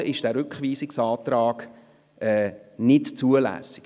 Also ist dieser Rückweisungsantrag nicht zulässig.